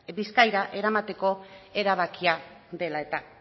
bizkaira eramateko erabakia dela eta